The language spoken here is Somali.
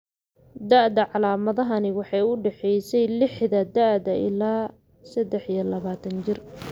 Da'da calaamadahani waxay u dhaxaysay lixda da'da ilaa sedex iyo labatan jir.